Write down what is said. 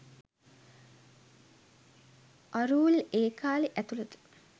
අරූල් ඒ කාලේ ඇතුළත